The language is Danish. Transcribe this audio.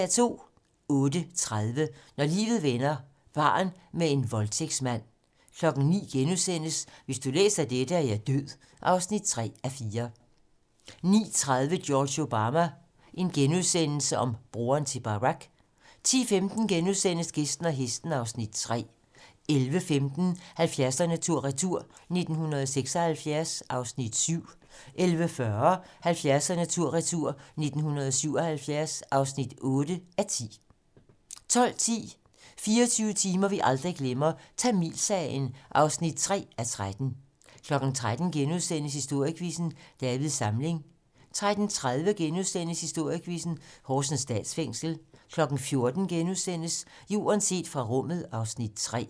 08:30: Når livet vender - barn med en voldtægtsmand 09:00: Hvis du læser dette, er jeg død (3:4)* 09:30: George Obama - bror til Barack * 10:15: Gæsten og hesten (Afs. 3)* 11:15: 70'erne tur retur: 1976 (7:10) 11:40: 70'erne tur-retur: 1977 (8:10) 12:10: 24 timer vi aldrig glemmer - Tamilsagen (3:13) 13:00: Historiequizzen: Davids Samling * 13:30: Historiequizzen: Horsens Statsfængsel * 14:00: Jorden set fra rummet (Afs. 3)*